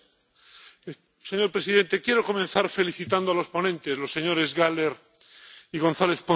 Señor presidente, quiero comenzar felicitando a los ponentes, los señores Gahler y González Pons, por su informe.